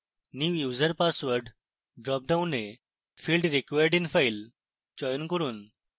new user password ড্রপডাউনে field required in file চয়ন করুন